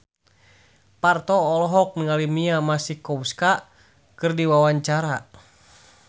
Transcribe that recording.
Parto olohok ningali Mia Masikowska keur diwawancara